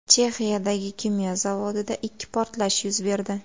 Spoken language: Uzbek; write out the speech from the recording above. Chexiyadagi kimyo zavodida ikki portlash yuz berdi.